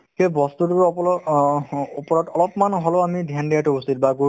সেই বস্তুতো আপোনাৰ অহ্ ওপৰত অলপমান হ'লেও আমি dhyan দিয়াতো উচিত বা গুৰুত্ব